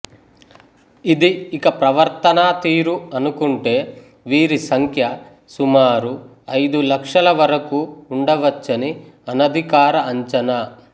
ఇది ఇక ప్రవర్తనా తీరు అనుకుంటే వీరి సంఖ్య సుమారు ఐదులక్షల వరకూ ఉండవచ్చని అనధికార అంచనా